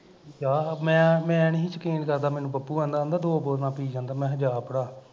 ਜਾ ਮੈਂ ਮੈਂ ਮੈਨੀ ਸੀ ਯਕੀਨ ਕਰਦਾ ਮੈਨੂੰ ਪੱਪੂ ਕਹਿੰਦਾ ਹੁੰਦਾ ਕਹਿੰਦਾ ਦੋ ਬੋਤਲਾਂ ਪੀ ਜਾਂਦਾ ਮੈਂ ਕਿਹਾ ਜਾ ਪੜਾ